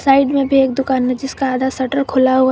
Side में भी एक दुकान है जिसका आधा शटर खुला हुआ है।